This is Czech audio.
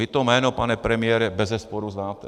Vy to jméno, pane premiére, bezesporu znáte.